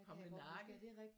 Pomle Nakken